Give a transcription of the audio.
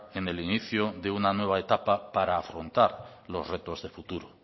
en el inicio de una nueva etapa para afrontar los retos de futuro